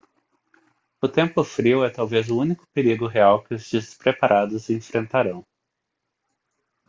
o tempo frio é talvez o único perigo real que os despreparados enfrentarão